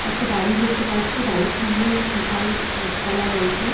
একটা বাড়ি দেখতে পাচ্ছি বাড়ির সামনে বিশাল গাছপালা রয়েছে।